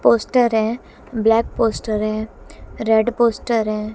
Poster है black poster है red poster है।